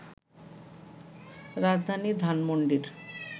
রাজধানী ধানমণ্ডির